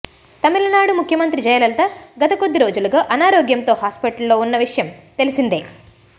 తమిళనాడు ముఖ్యమంత్రి జయలలిత గత కొద్ది రోజులుగా అనారోగ్యంతో హాస్పటల్ ఉన్న విషయం తెలిసిందే